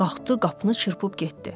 Qalxdı, qapını çırpıb getdi.